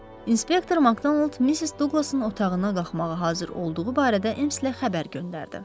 Inspektor Makdonald Missis Duqlasın otağına qalxmağa hazır olduğu barədə M-ə xəbər göndərdi.